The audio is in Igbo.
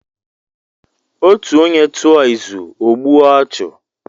Ọtu ọnye tụọ ịzụ ọ gbụe ọchu.